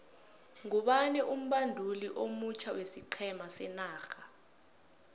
ngubani umbanduli omutjha wesiqhema senorha